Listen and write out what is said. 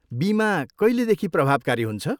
बिमा कहिलेदेखि प्रभावकारी हुन्छ?